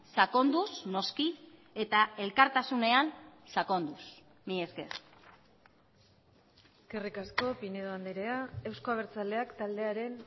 sakonduz noski eta elkartasunean sakonduz mila esker eskerrik asko pinedo andrea euzko abertzaleak taldearen